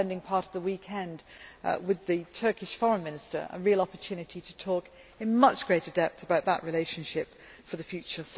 I was spending part of the weekend with the Turkish Foreign Minister a real opportunity to talk in much greater depth about that relationship for the future.